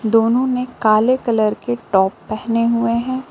दोनों ने काले कलर के टॉप पहने हुए हैं।